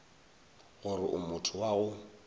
gore o motho wa go